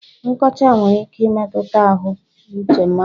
Nkọcha nwere ike imetụta ahụ uche mmadụ.